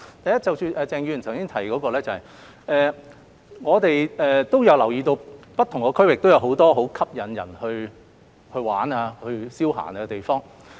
第一，就鄭議員的提問，我們也留意到不同區域也有很多吸引人前往遊玩消閒的地方。